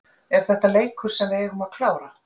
Er þetta leikur sem við eigum að klára?